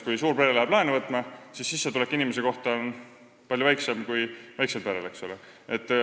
Kui suurpere tahab laenu võtta, siis tema sissetulek inimese kohta tuleb palju väiksem kui väiksel perel.